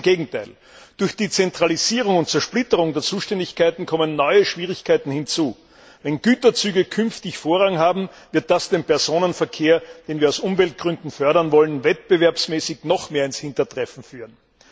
Ganz im Gegenteil, durch die Zentralisierung und Zersplitterung der Zuständigkeiten kommen neue Schwierigkeiten hinzu Wenn Güterzüge künftig Vorrang haben, wird das den Personenverkehr, den wir aus Umweltgründen fördern wollen, wettbewerbsmäßig noch mehr ins Hintertreffen führen.